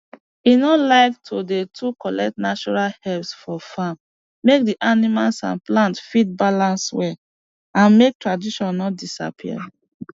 he no like to dey too collect natural herbs for farm make d animal and plants fit balance well and make tradition no disappear